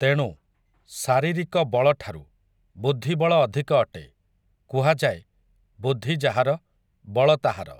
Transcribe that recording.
ତେଣୁ, ଶାରିରୀକ ବଳଠାରୁ, ବୁଦ୍ଧିବଳ ଅଧିକ ଅଟେ, କୁହାଯାଏ, ବୁଦ୍ଧି ଯାହାର, ବଳ ତାହାର ।